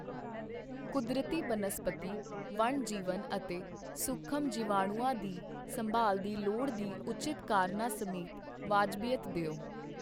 ਕੁਦਰਤੀ ਬਨਸਪਤੀ ਵਣ ਜੀਵਨ ਅਤੇ ਸੂਖਮ ਜੀਵਾਣੂਆ ਦੀ ਸੰਭਾਲ ਦੀ ਲੋੜ ਦੀ ਉਚਿਤ ਕਾਰਨਾਂ ਸਮੇਤ ਵਾਜਬੀਅਤ ਦਿਉ।